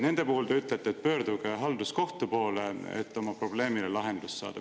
Nende puhul te ütlete, et pöörduge halduskohtu poole, et oma probleemile lahendus saada.